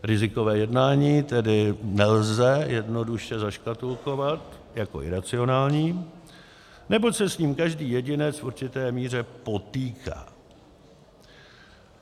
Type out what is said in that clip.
Rizikové jednání tedy nelze jednoduše zaškatulkovat jako iracionální, neboť se s ním každý jedinec v určité míře potýká.